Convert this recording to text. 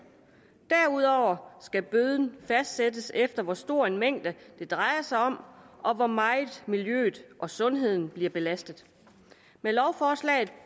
derudover skal bøden fastsættes efter hvor stor en mængde det drejer sig om og hvor meget miljøet og sundheden bliver belastet med lovforslaget